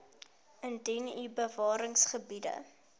indien u bewaringsgebiede